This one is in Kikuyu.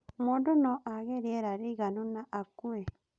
Mũndũ no aage rĩera rĩiganu na akue